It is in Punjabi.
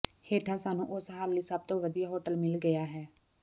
ਹੇਠਾਂ ਸਾਨੂੰ ਉਸ ਹੱਲ ਲਈ ਸਭ ਤੋਂ ਵਧੀਆ ਹੋਟਲ ਮਿਲ ਗਿਆ ਹੈ